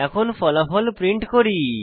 এখন ফলাফল প্রিন্ট করি